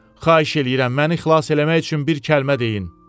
Xahiş eləyirəm, məni xilas eləmək üçün bir kəlmə deyin.